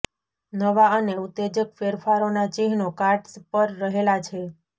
નવા અને ઉત્તેજક ફેરફારોનાં ચિહ્નો કાર્ડ્સ પર રહેલા છે